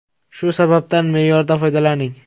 Shu sababdan me’yorda foydalaning.